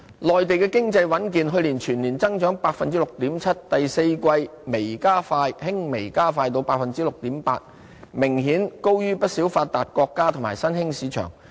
內地經濟穩健，去年全年增長達 6.7%， 第四季輕微加快至 6.8%， 明顯高於不少發達國家和新興市場。